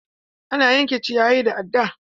Ana yanke ciyayi da adda.